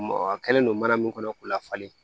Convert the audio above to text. a kɛlen don mana min kɔnɔ k'u lafalen